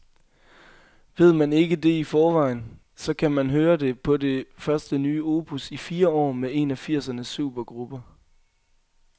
Ved man ikke det i forvejen, så kan man høre det på det første nye opus i fire år med en af firsernes supergrupper.